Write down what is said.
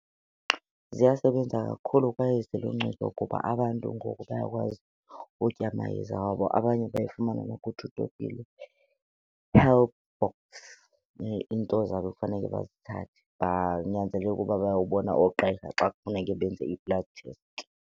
Ziyasebenza kakhulu kwaye ziluncedo kuba abantu ngoku bayakwazi ukutya amayeza wabo abanye bayifumana , healthbox, iinto zabo ekufanele bazithathe. Banyanzeleke uba bayobona oogqirha xa kufuneke benze ii-blood test.